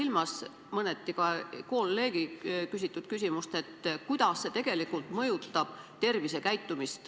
Ma pean mõneti silmas ka kolleegi küsimust, kuidas see tegelikult mõjutab inimeste tervisekäitumist.